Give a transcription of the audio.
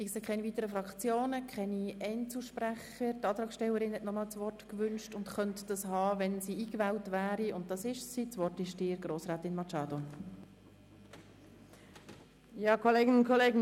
Da sich keine weiteren Fraktionssprecher haben und auch keine Einzelsprecher, gebe ich das Wort noch einmal der Antragstellerin.